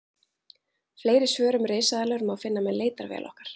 Fleiri svör um risaeðlur má finna með leitarvél okkar.